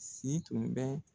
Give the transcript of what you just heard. Si tun bɛ